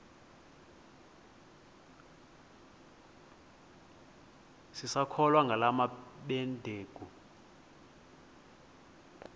sisakholwa ngala mabedengu